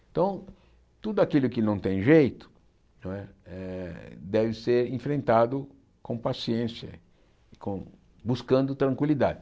Então, tudo aquilo que não tem jeito não é eh deve ser enfrentado com paciência, com buscando tranquilidade.